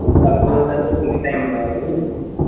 একটা গাড়ি যদি থাকে extra income হবে বুঝলি